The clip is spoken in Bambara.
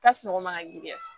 Ka sunɔgɔ man ka girinya